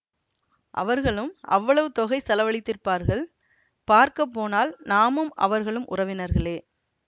அவர்களும் அவ்வளவு தொகை செலவழித்திருப்பார்கள் பார்க்க போனால் நாமும் அவர்களும் உறவினர்களே